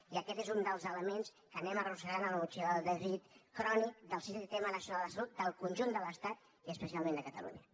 i aquest és un dels elements que anem arrossegant a la motxilla del dèficit crònic del sistema nacional de salut del conjunt de l’estat i especialment de catalunya